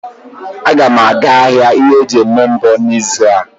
Agam aga ahia ihe eji eme mbọ n'izu a.